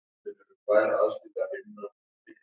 Það kom mér til lífs á ný.